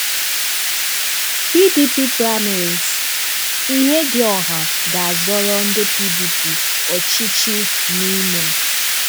PDP Primaries: Ihedioha ga-azọrọ ndị PDP ọchịchị n'Imo